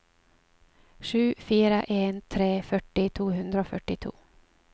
sju fire en tre førti to hundre og førtito